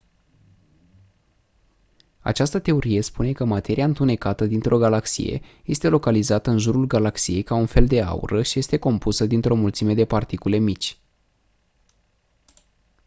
această teorie spune că materia întunecată dintr-o galaxie este localizată în jurul galaxiei ca un fel de aură și este compusă dintr-o mulțime de particule mici